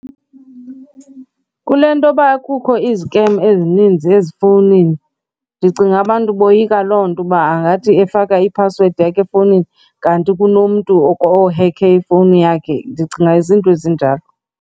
Kule ntoba kukho izikem ezininzi ezifowunini ndicinga abantu boyika loo nto uba angathi efaka iphasiwedi yakho efowunini kanti kunomntu ohekhe ifowuni yakhe. Ndicinga zinto ezinjalo.